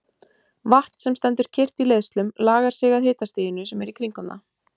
Vatn sem stendur kyrrt í leiðslum lagar sig að hitastiginu sem er í kringum það.